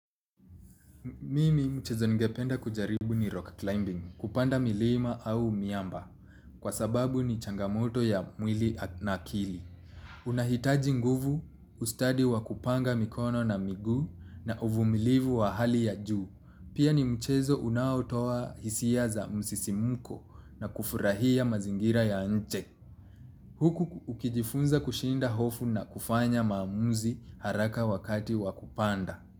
Mimi mchezo ningependa kujaribu ni rock climbing. Kupanda milima au miamba. Kwa sababu ni changamoto ya mwili na akili. Unahitaji nguvu ustadi wa kupanga mikono na miguu na uvumilivu wa hali ya juu. Pia ni mchezo unautoa hisia za msisimko na kufurahia mazingira ya nche. Huku ukijifunza kushinda hofu na kufanya maamuzi haraka wakati wa kupanda.